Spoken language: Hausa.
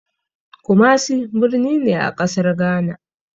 Kumasi birni ne a ƙasar Gana.